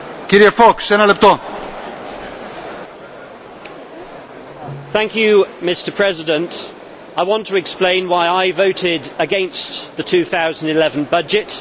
Mr President, I want to explain why I voted against the 2011 budget.